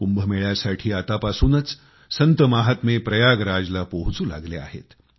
कुंभ मेळ्यासाठी आतापासूनच संतमहात्मे प्रयागराज ला पोहचू लागले आहेत